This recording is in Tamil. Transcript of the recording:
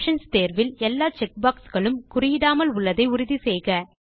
ஆப்ஷன்ஸ் தேர்வில் எல்லா செக் பாக்ஸ் களும் குறியிடாமல் உள்ளதை உறுதி செய்க